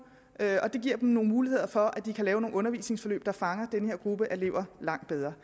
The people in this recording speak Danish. og det giver dem nogle muligheder for at de kan lave nogle undervisningsforløb der fanger den her gruppe elever langt bedre